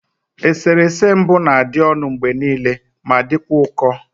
Eserese mbụ na-adị ọnụ mgbe niile ma dịkwa ụkọ